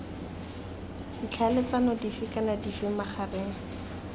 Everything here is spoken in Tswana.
ditlhaeletsano dife kana dife magareng